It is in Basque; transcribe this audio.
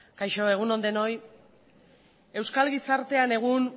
kaixo egun on denoi euskal gizartean egun